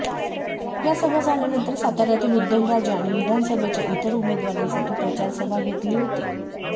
या सभा झाल्यानंतर साताऱ्यातील उदयनराजे आणि विधानसभेच्या इतर उमेदवारांसाठी प्रचार सभा घेतली होती